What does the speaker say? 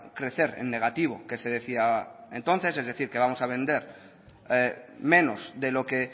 crecer en negativo que se decía entonces es decir que vamos a vender menos de lo que